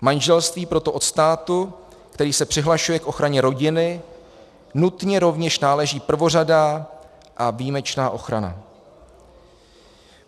Manželství proto od státu, který se přihlašuje k ochraně rodiny, nutně rovněž náleží prvořadá a výjimečná ochrana.